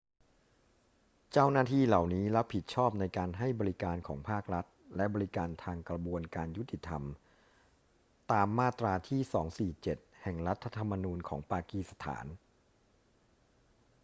เจ้าหน้าที่เหล่านี้รับผิดชอบในการให้บริการของภาครัฐและบริการทางกระบวนการยุติธรรมตามมาตราที่ 247 แห่งรัฐธรรมนูญของปากีสถาน